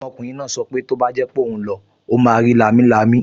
Ọmọkùnrin náà sọ pé tó bá jẹ́ pé ó lọ, ó máa rí lámilámi